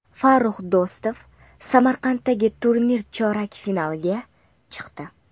Farrux Do‘stov Samarqanddagi turnir chorak finaliga chiqdi.